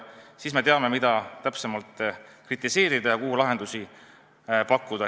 Siis me teame, mida täpsemalt kritiseerida ja mis lahendusi pakkuda.